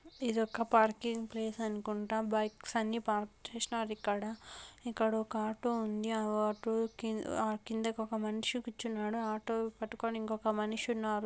ఇది ఒక parking place అనుకుంట. బైక్స్ అన్ని పార్క్ చేసినారు ఇక్కడ. ఇక్కడ ఒక ఆటో ఉంది. ఆటో కి-- ఆ కిందకు మనిషి కూర్చున్నాడు. ఆటో పట్టుకుని ఇంకొక మనిషి ఉన్నాడు.